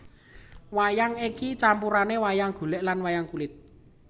Wayang iki campurane wayang golek lan wayang kulit